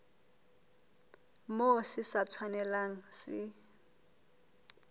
moo se sa tshwanelang se